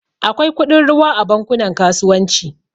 Akwai kudin ruwa a bankunan kasuwanci